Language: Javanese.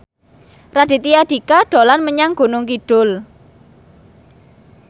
Raditya Dika dolan menyang Gunung Kidul